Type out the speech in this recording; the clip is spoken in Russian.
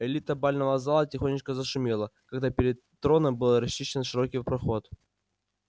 элита бального зала тихонечко зашумела когда перед троном был расчищен широкий проход